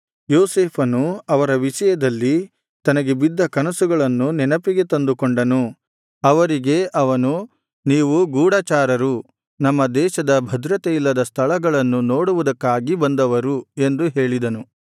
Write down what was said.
ಯೋಸೇಫನು ಅವರ ವಿಷಯದಲ್ಲಿ ತನಗೆ ಬಿದ್ದ ಕನಸುಗಳನ್ನು ನೆನಪಿಗೆ ತಂದುಕೊಂಡನು ಅವರಿಗೆ ಅವನು ನೀವು ಗೂಢಚಾರರು ನಮ್ಮ ದೇಶದ ಭದ್ರತೆಯಿಲ್ಲದ ಸ್ಥಳಗಳನ್ನು ನೋಡುವುದಕ್ಕಾಗಿ ಬಂದವರು ಎಂದು ಹೇಳಿದನು